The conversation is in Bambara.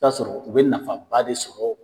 I bi t'a sɔrɔ u bɛ nafaba de sɔrɔ.